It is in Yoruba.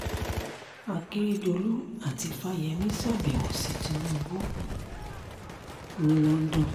akèrèdòlù àti fáyemí ṣàbẹ̀wò sí tinubu ní london